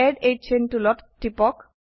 add a chain টুলত টিপক